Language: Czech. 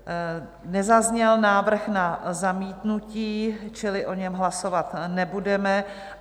Nezazněl návrh na zamítnutí, čili o něm hlasovat nebudeme.